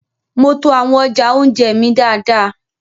Mo to awọn ọja ounjẹ mí dáadáa